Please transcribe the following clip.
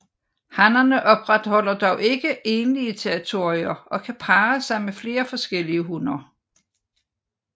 Hannerne opretholder dog ikke egentlige territorier og kan parre sig med flere forskellige hunner